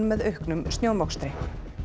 með auknum snjómokstri